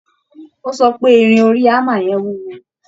Ó sọ pé Irin orí hammer yẹn wúwo